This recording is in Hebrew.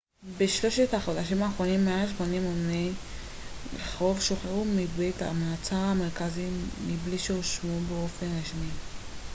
בשלושת החודשים האחרונים מעל 80 אמני רחוב שוחררו מבית המעצר המרכזי מבלי שהואשמו באופן רשמי